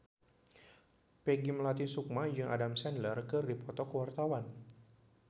Peggy Melati Sukma jeung Adam Sandler keur dipoto ku wartawan